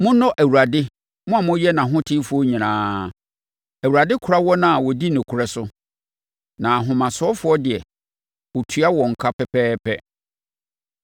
Monnɔ Awurade, mo a moyɛ nʼahotefoɔ nyinaa! Awurade kora wɔn a wodi nokorɛ so, na ahomasofoɔ deɛ ɔtua wɔn ka pɛpɛɛpɛ.